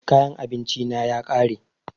Kayan abinci na ya ƙare